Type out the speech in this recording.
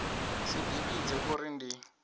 si ḓi vhidze uri ndi